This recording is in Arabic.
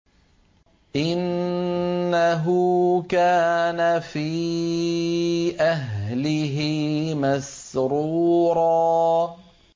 إِنَّهُ كَانَ فِي أَهْلِهِ مَسْرُورًا